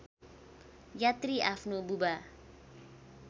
यात्री आफ्नो बुबा